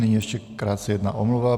Nyní ještě krátce jedna omluva.